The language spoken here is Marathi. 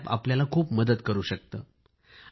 हे अॅप आपल्याला खूप मदत करू शकते